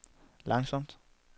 langsomt